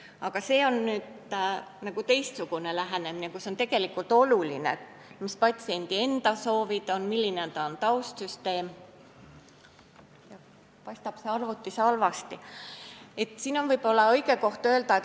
Aga nüüd on meil natuke teistsugune lähenemine, kus on tegelikult oluline, mis on patsiendi enda soovid ja milline on tema taustsüsteem.